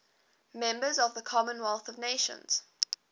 members of the commonwealth of nations